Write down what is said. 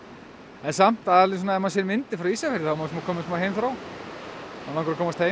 en samt ef maður sér myndir frá Ísafirði þá er maður komin með smá heimþrá og langar að komast heim